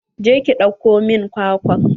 Je ki ɗauko min kwakwan.